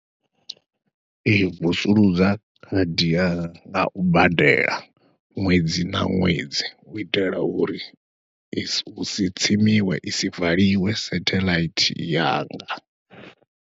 Ee vusuludza khadi ngau badela ṅwedzi na ṅwedzi hu itela uri husi tsimisiwe isi valiwe satheḽaithi yanga.